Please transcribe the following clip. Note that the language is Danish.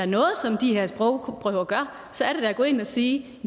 noget som de her sprogprøver gør så er det da at gå ind og sige